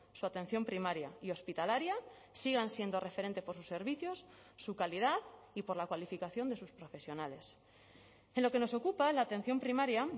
su atención primaria y hospitalaria sigan siendo referente por sus servicios su calidad y por la cualificación de sus profesionales en lo que nos ocupa la atención primaria